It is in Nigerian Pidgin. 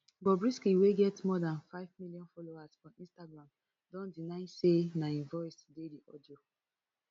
bobrisky wey get more dan five millions followers for instagram don deny say na im voice dey di audio